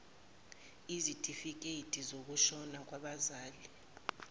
ezitifiketi zokushona kwabazali